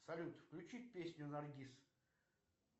салют включи песню наргиз